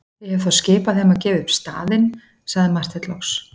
Ég hef þá skipað þeim að gefa upp staðinn, sagði Marteinn loks.